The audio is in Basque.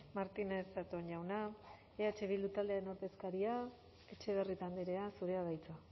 martínez zatón jauna eh bildu taldearen ordezkaria etxebarrieta andrea zurea da hitza